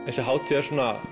þessi hátíð er